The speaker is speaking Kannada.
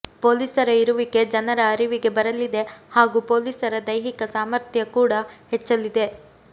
ಪೊಲೀಸರ ಇರುವಿಕೆ ಜನರ ಅರಿವಿಗೆ ಬರಲಿದೆ ಹಾಗೂ ಪೊಲೀಸರ ದೈಹಿಕ ಸಾಮಥ್ರ್ಯ ಕೂಡ ಹೆಚ್ಚಲಿದೆ